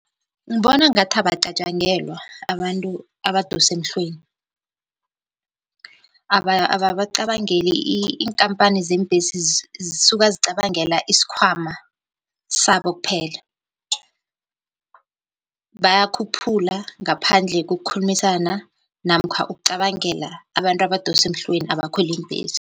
Ngibona ngathi abacatjangelwa abantu abadosa emhlweni, ababacabangeli iinkampani zeembhesi zisuka zicabangela isikhwama sabo kuphela, bayakhuphula ngaphandle kokukhulumisana namkha ukucabangela abantu abadosa emhlweni abakhwela iimbhesi.